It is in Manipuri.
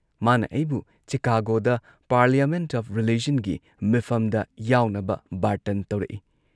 ꯃꯥꯅ ꯑꯩꯕꯨ ꯆꯤꯀꯥꯒꯣꯗ ꯄꯥꯔꯂꯤꯌꯥꯃꯦꯟꯠ ꯑꯣꯐ ꯔꯤꯂꯤꯖꯟꯒꯤ ꯃꯤꯐꯝꯗ ꯌꯥꯎꯅꯕ ꯕꯥꯔꯇꯟ ꯇꯧꯔꯛꯏ ꯫